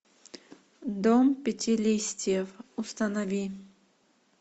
дом пяти листьев установи